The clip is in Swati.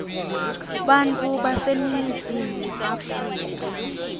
bantfu baseningizimu afrika